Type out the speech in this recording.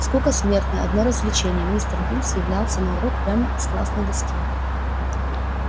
скука смертная одно развлечение мистер бинс являлся на урок прямо из классной доски